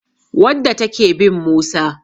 wadda take bin Musa